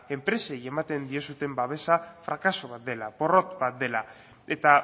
enpresei ematen diozuen babesa frakaso bat dela porrot bat dela eta